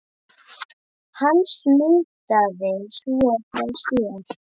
Hann smitaði svo frá sér.